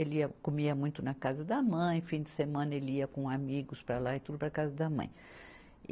Ele ia, comia muito na casa da mãe, fim de semana ele ia com amigos para lá e tudo para a casa da mãe.